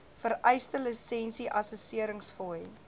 vereiste lisensie assesseringsfooi